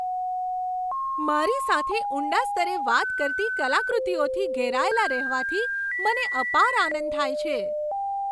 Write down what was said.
મારી સાથે ઊંડા સ્તરે વાત કરતી કલાકૃતિઓથી ઘેરાયેલા રહેવાથી મને અપાર આનંદ થાય છે.